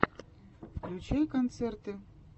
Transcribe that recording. включай концерты